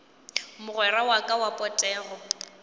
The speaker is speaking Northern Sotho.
mogwera wa ka wa potego